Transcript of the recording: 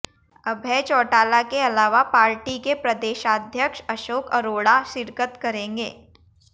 अभय चौटाला के अलावा पार्टी के प्रदेशाध्यक्ष अशोक अरोड़ा शिरकत करेंगे